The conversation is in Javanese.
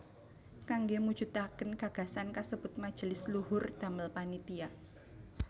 Kangge mujudakan gagasan kasebut Majelis Luhur damel panitia